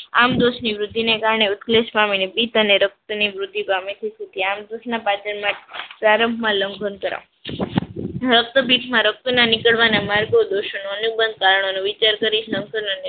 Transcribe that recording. આમદોસની વૃદ્ધિને કારણે ઉત્કલેશ પામીને પિત અને રક્તની વૃદ્ધિ પામે તે થી અમદોસના પાચન માં પ્રારંભમાં લંઘન કરવો. રક્તપિતમાં રક્તના નિકડવાના માર્ગદોસનો અનુબંધ કારણોની વિચાર કરી સંતુલનની